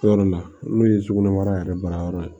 Yɔrɔ la n'o ye sugunɛ mara yɛrɛ baara yɔrɔ ye